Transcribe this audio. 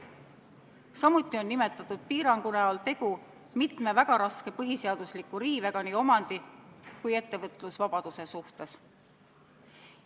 Samuti on selle piirangu näol tegu mitme väga tugeva põhiseaduse riivega nii omandi kui ettevõtlusvabaduse suhtes.